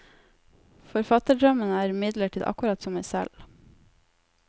Forfatterdrømmen er imidlertid akkurat som meg selv.